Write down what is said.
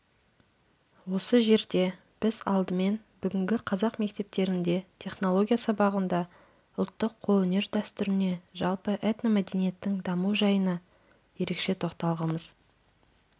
осы жерде біз алдымен бүгінгі қазақ мектептерінде технология сабағындағы ұлттық қолөнер дәстүріне жалпы этномәдениеттің даму жайына ерекше тоқталғымыз